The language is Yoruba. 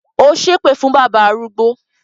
Ó ṣépè fún bábà arúgbó